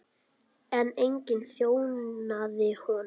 En enginn þjónaði honum.